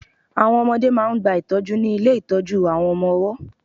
Àwọn ọmọdẹ́ máà ń gba ìtọ́jú ní ilé ìtọ́jú àwọn ọmọ ọwọ́.